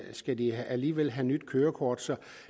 skal de alligevel have nyt kørekort så